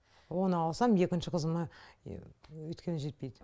оны алсам екінші қызыма өйткені жетпейді